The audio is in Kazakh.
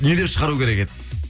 не деп шығару керек еді